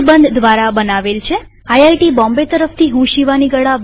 IIT Bombay તરફથી હું શિવાની ગડા વિદાય લઉં છુંટ્યુ્ટોરીઅલમાં ભાગ લેવા આભાર